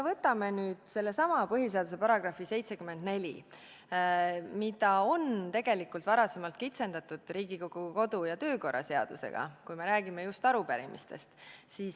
Võtame sellesama põhiseaduse § 74, mida on tegelikult varem kitsendatud Riigikogu kodu- ja töökorra seadusega, kui me räägime just arupärimistest.